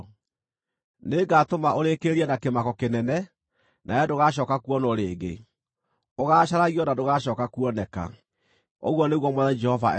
Nĩngatũma ũrĩkĩrĩrie na kĩmako kĩnene, nawe ndũgacooka kuonwo rĩngĩ. Ũgaacaragio na ndũgacooka kuoneka, ũguo nĩguo Mwathani Jehova ekuuga.”